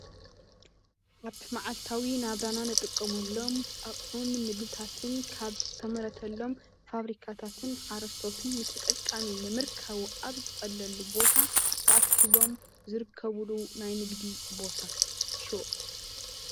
ኣብ መዓልታዊ ናብራና እንጥቀመሎም ኣቁሑን ምግብታትን ካብ ዝተመረተሎም ፋብሪካታትን ሓሮሶቶትን ዝጥቀምሎም ተዓሺጎም ተኣኪቦም ዝርከብሎም ናይ ንግዲ ሹቅ